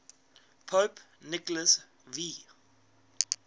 pope nicholas v